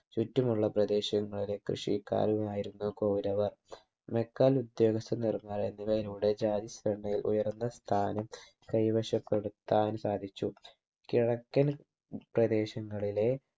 ചുറ്റുമുള്ള പ്രദേശങ്ങളിലെ കൃഷിക്കാരുമായിരുന്നു കൗരവർ മെക്കൽ ഉദ്യോഗസ്ഥനിർമല എന്നിവയിലൂടെ ജാതി സഭയിൽ ഉയർന്ന സ്ഥാനം കൈവശപ്പെടുത്താൻ സാധിച്ചു കിഴക്കൻ പ്രദേശങ്ങളിലെ